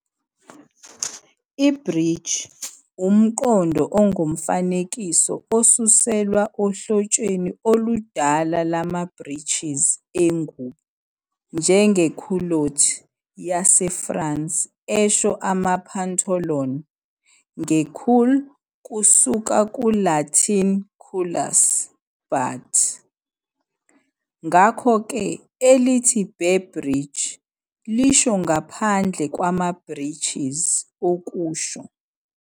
I-Breech, umqondo ongokomfanekiso osuselwa ohlotsheni oludala lwama-breeches engubo, njenge-culotte yaseFrance esho ama-pantoloon, nge-cul kusuka ku-Latin culus "butt", ngakho-ke elithi "bare breech" lisho ngaphandle kwama-breeches, okusho